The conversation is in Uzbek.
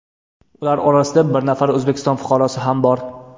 Ular orasida bir nafar O‘zbekiston fuqarosi ham bor.